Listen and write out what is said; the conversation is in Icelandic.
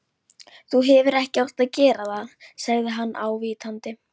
Þú hefðir ekki átt að gera það sagði hann ávítandi.